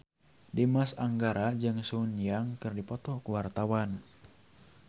Dimas Anggara jeung Sun Yang keur dipoto ku wartawan